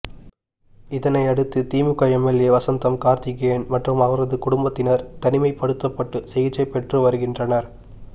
இதனை அடுத்து திமுக எம்எல்ஏ வசந்தம் கார்த்திகேயன் மற்றும் அவரது குடும்பத்தினர் தனிமைப்படுத்தப்பட்டு சிகிச்சை பெற்று வருகின்றனர்